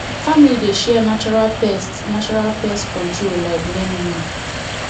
family dey share natural pest natural pest control like neem leaf